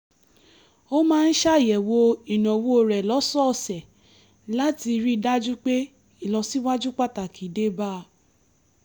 ó máa ń ṣàyẹ̀wò ìnáwó rẹ̀ lọ́sọ̀ọ̀sẹ̀ láti rí i dájú pé ìlọsíwájú pàtàkì dé bá a